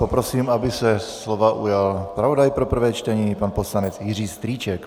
Poprosím, aby se slova ujal zpravodaj pro prvé čtení pan poslanec Jiří Strýček.